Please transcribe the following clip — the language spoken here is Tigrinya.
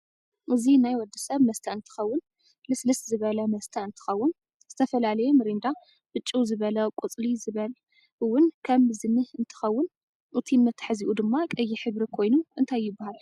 እዚ ናይ ወድሰብ መስተ እንትከውን ልስልስ ዝበለ መስተ እንትከውን ዝተፈላለይ ሚርንዳ ብጭው ዝበለ ቁፅሊ ዝበለ እውን ከም ዝንህ እንትከውን እቲ መተሕዝኡ ድማ ቀይሕ ሕብሪ ኮይኑ እንታይ ይብሃል?